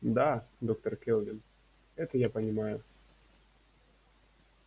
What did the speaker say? да доктор кэлвин это я понимаю